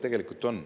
Tegelikult on.